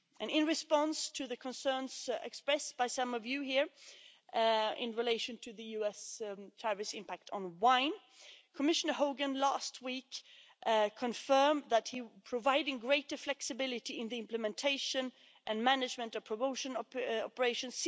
In response to the concerns expressed by some of you here in relation to the US tariff impact on wine Commissioner Hogan last week confirmed that he is providing greater flexibility in the implementation and management of promotion operations.